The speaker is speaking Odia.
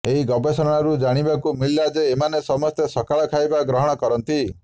ଏହି ଗବେଷଣାରୁ ଜାଣିବାକୁ ମିଳିଲା ଯେ ଏମାନେ ସମସ୍ତେ ସକାଳ ଖାଇବା ଗ୍ରହଣ କରନ୍ତିି